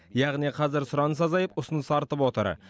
яғни қазір сұраныс азайып ұсыныс артып отыр